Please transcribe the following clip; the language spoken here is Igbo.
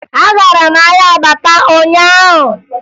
Agara m ahịa Abakpa ụnyaahụ